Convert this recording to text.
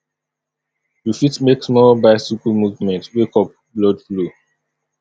you fit make small bicycle movement wake up blood flow